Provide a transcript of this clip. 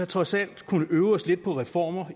trods alt kunnet øve os lidt på reformer